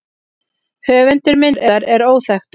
Höfundur myndar er óþekktur.